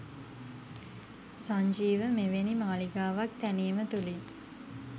සංජීව මෙවෙනි මාලිගාවක් තැනීම තුලින්